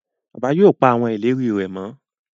Bàbá yóò pá àwọn ìlérí rè mọ